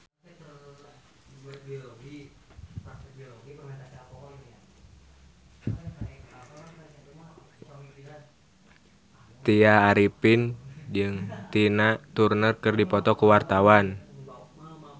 Tya Arifin jeung Tina Turner keur dipoto ku wartawan